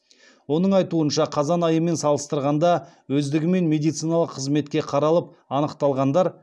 оның айтуынша қазан айымен салыстырғанда өздігімен медициналық қызметке қаралып анықталғандар